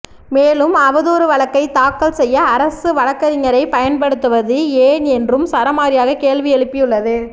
மேலும் அவதூறு வழக்கை தாக்கல் செய்ய அரசு வழக்கறிஞரை பயன்படுத்துவது ஏன் என்றும் சரமாரியாக கேள்வி எழுப்பியுள்ளது